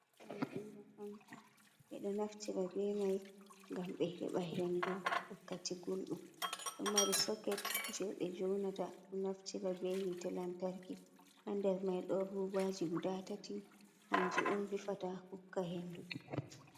Ohm Fanka, be do naftira be mai gam be heba hendu wakkati guldum. Ɗo mari soket je be joonata. naftira be hite lantarki. Ha nder mai don rubaji guda tati hanji on vifata hukka hendu.